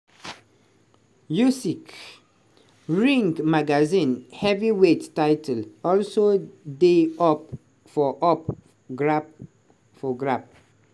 usyk ring magazine heavyweight title also dey up for up grap for grabs.